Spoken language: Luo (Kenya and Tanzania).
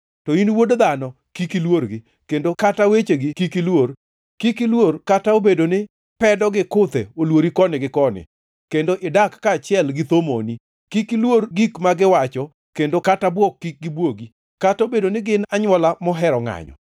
To in wuod dhano, kik iluorgi, kendo kata wechegi kik iluor. Kik iluor, kata obedo ni pedo gi kuthe oluori koni gi koni, kendo idak kanyachiel gi thomoni; kik iluor gik ma giwacho kendo kata bwok kik gibwogi, kata obedo ni gin anywola mohero ngʼanyo.